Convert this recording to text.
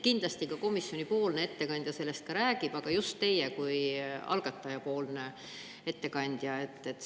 Kindlasti ka komisjoni ettekandja sellest räägib, aga rääkige just teie kui algataja ettekandja.